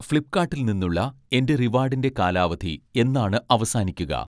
ഫ്ലിപ്പ്കാട്ടിൽ നിന്നുള്ള എൻ്റെ റിവാഡിൻ്റെ കാലാവധി എന്നാണ് അവസാനിക്കുക?